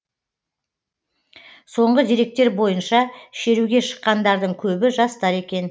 соңғы деректер бойынша шеруге шыққандардың көбі жастар екен